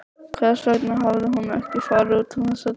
Hvers vegna hafði hún ekki farið út um þessar dyr?